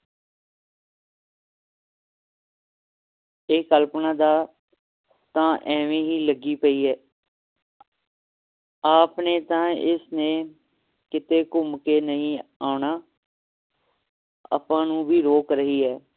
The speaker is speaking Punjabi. ਇਹ ਕਲਪਨਾ ਦਾ ਤਾ ਐਵੇ ਹੀ ਲੱਗੀ ਪਈ ਹੈ ਆਪ ਨੇ ਤਾ ਇਸ ਨੇ ਕੀਤੇ ਘੁੰਮ ਕੇ ਨਹੀਂ ਆਉਣਾ ਆਪਾਂ ਨੂੰ ਵੀ ਰੋਕ ਰਹੀ ਹੈ